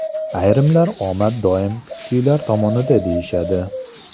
Ayrimlar omad doim kuchlilar tomonida deyishadi.